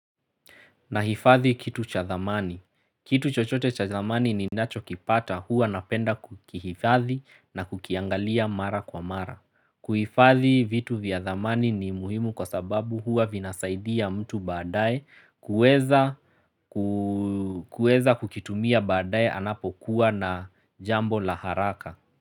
Nahifathi kitu cha dhamani. Kitu chochote cha dhamani ni nacho kipata hua napenda kuhifathi na kukiangalia mara kwa mara. Kuhifathi vitu vya dhamani ni muhimu kwa sababu hua vinasaidia mtu badaaye kuweza kukitumia badaaye anapokuwa na jambo la haraka.